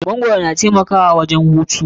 Magwaro na taimakawa wajen hutu.